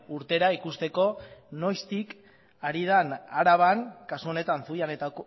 urtera ikusteko noiztik ari den araban kasu honetan zuian eta